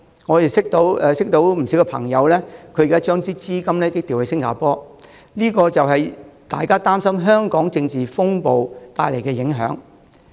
我認識的不少朋友，現時已把資金調往新加坡，這是因為他們擔心香港政治風暴所帶來的影響。